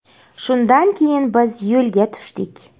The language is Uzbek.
Shundan keyin biz yo‘lga tushdik.